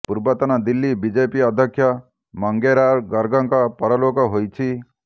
ପୂର୍ବତନ ଦିଲ୍ଳୀ ବିଜେପି ଅଧ୍ୟକ୍ଷ ମଙ୍ଗେରାମ ଗର୍ଗଙ୍କ ପରଲୋକ ହୋଇଛି